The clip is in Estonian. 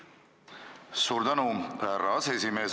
Suur tänu, härra aseesimees!